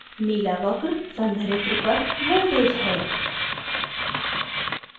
नीला वक्र संधारित्र पर voltage है